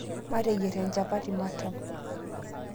Mateyier nchapati matam